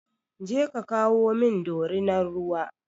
Je ka kawo min dorinar ruwa!